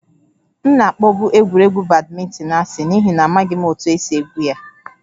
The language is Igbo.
M na-akpọbu egwuregwu badminton asị n'ihi na amaghị m otú e si egwu ya